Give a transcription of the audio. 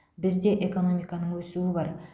бізде экономиканың өсуі бар